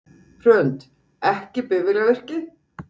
Hrund: Ekki bifvélavirki?